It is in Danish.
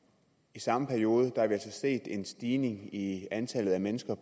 i samme periode har vi set en stigning i antallet af mennesker